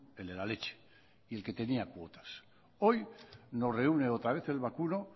el de la leche y el que tenía cuotas hoy nos reúne otra vez el vacuno